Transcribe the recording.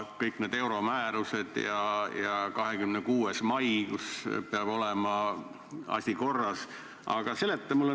Kõik need euromäärused ja 26. mai, kui peab asi korras olema.